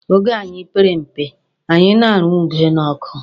Oge anyị pere mpe, anyị na-arụ ube n'ọkụ.